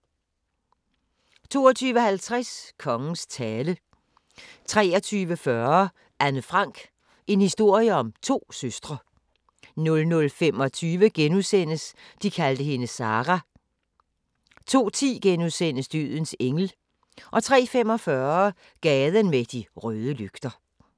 22:50: Kongens tale 23:40: Anne Frank - en historie om to søstre 00:25: De kaldte hende Sarah * 02:10: Dødens engel * 03:45: Gaden med de røde lygter